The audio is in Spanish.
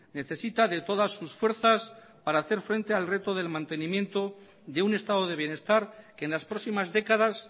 necesita de todas sus fuerzas para hacer frente al reto del mantenimiento de un estado de bienestar que en las próximas décadas